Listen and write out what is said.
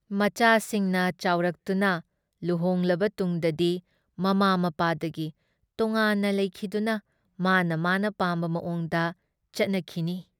ꯃꯆꯥꯁꯤꯡꯅ ꯆꯥꯎꯔꯛꯇꯨꯅ ꯂꯨꯍꯣꯡꯂꯕ ꯇꯨꯡꯗꯗꯤ ꯃꯃꯥ ꯃꯄꯥꯗꯒꯤ ꯇꯣꯉꯥꯟꯅ ꯂꯩꯈꯤꯗꯨꯅ ꯃꯥꯅ ꯃꯥꯅ ꯄꯥꯝꯕ ꯃꯑꯣꯡꯗ ꯆꯠꯅꯈꯤꯅꯤ ꯫